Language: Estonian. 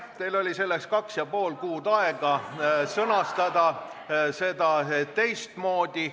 Teil oli kaks ja pool kuud aega sõnastada seda teistmoodi.